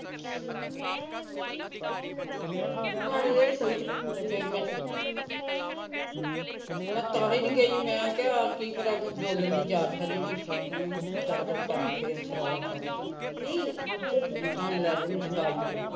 ਤੇ ਫੇਰ ਮੈ ਮੈ ਤਾਹੀ ਨਹੀ ਗਈ ਮੈ ਕਿਹਾ ਬੋਲਣ ਦੀ ਜਾਚ ਹੈਗੀ ਨਹੀ ਹੈਗੀ ਹਮ ਗੜ ਗੜ ਕਰਦੀ ਫਿਰੇ ਵਿਚ ਰੋਲਾ ਪਾਈ ਨਹੀ ਤਾਂ ਮੈ ਲੈ ਜਾਣਾ ਸੀ